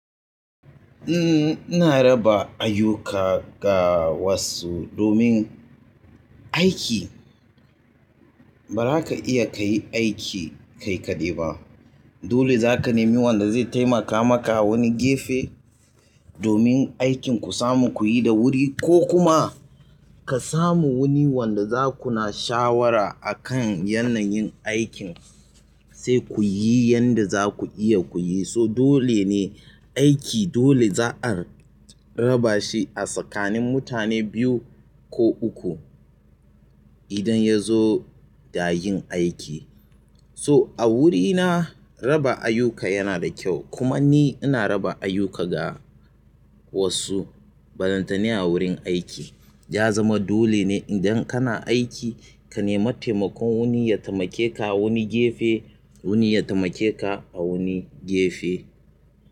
Ina raba ayyuka ga wasu domin aiki. Ba za ka iya ka yi aiki kai kaɗai ba. Dole za ka nemi wanda zai taimaka maka wani gefe. Domin aikin ku samu ku yi da wuri ko kuma. Ka samu wani wanda za ku na shawara akan yanayin aikin. Sai ku yi yanda za ku iya ku yi. So dole ne aiki dole za'a raba shi a tsakanin mutane biyu ko uku idan ya zo da yin aiki. To, a wurina raba ayyuka yana da kyau kuma ni ina raba ayyuka ga wasu. Ka samu wani wanda za ku na shawara akan yanayin aikin. Ya zama dole ne idan kana aiki ka nemi taimakon wani ya taimake ka wani gefe. Wani ya temaka a wani gefe.